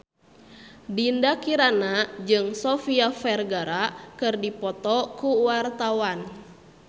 Dinda Kirana jeung Sofia Vergara keur dipoto ku wartawan